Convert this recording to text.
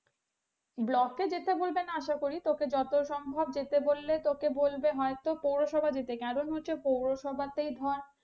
block এ যেতে বলবে না আশা করি তোকে যত সম্ভব যেতে বললে তোকে বলবে হয়তো পৌরসভা যেতে কারণ হচ্ছে পৌরসভাতেই ধর,